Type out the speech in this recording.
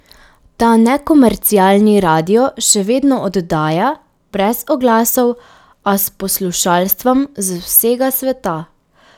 Ta nekomercialni radio še vedno oddaja, brez oglasov, a s poslušalstvom z vsega sveta.